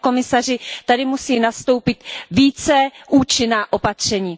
Pane komisaři, tady musí nastoupit více účinná opatření.